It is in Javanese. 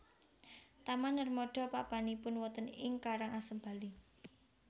Taman Narmada papanipun wonten ing Karang Asem Bali